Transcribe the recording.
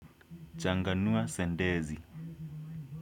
Changanua sentensi.